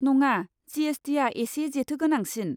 नङा, जि.एस.टि.आ एसे जेथो गोनांसिन।